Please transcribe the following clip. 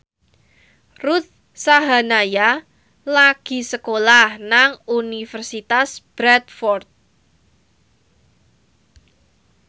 Ruth Sahanaya lagi sekolah nang Universitas Bradford